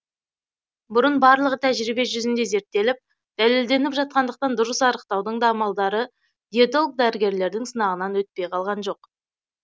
бұнын барлығы тәжірибе жүзінде зерттеліп дәлелденіп жатқандықтан дұрыс арықтаудың да амалдары диетолог дәрігерлердің сынағынан өтпей қалған жоқ